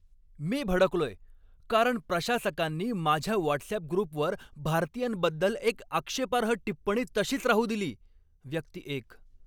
मी भडकलोय, कारण प्रशासकांनी माझ्या व्हॉट्सअॅप ग्रुपवर भारतीयांबद्दल एक आक्षेपार्ह टिप्पणी तशीच राहू दिली. व्यक्ती एक